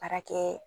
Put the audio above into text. Baarakɛ